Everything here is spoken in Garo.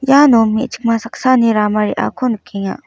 iano me·chikma saksani rama reako nikenga.